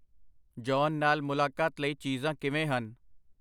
John ਨਾਲ ਮੁਲਾਕਾਤ ਲਈ ਚੀਜ਼ਾਂ ਕਿਵੇਂ ਹਨ?